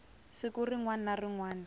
siku rin wana na rin